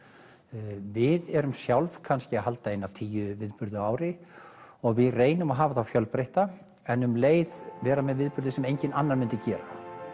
við erum sjálf kannski að halda eina tíu viðburði á ári og við reynum að hafa þá fjölbreytta en um leið vera með viðburði sem enginn annar myndi gera